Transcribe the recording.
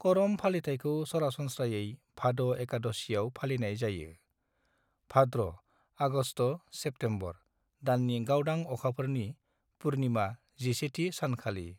करम फालिथायखौ सरासनस्रायै भाद' एकादशीयाव फालिनाय जायो, भाद्र' (आगस्थ'- सेप्तेम्बर) दाननि गावदां अखाफोरनि (पूर्णिमा) जिसेथि सानखालि।